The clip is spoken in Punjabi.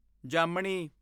ਜਾਮਨੀ